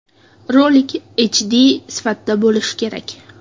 Rolik HD sifatda bo‘lishi kerak.